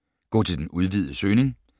Gå til den udvidede søgning